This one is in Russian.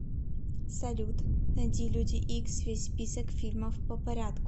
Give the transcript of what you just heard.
салют найти люди икс весь список фильмов по порядку